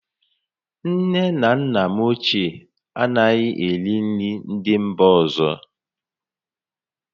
Nne na nna m ochie anaghị eri nri ndị mba ọzọ